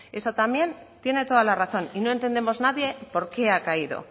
eso también tiene toda la razón y no entendemos nadie por qué ha caído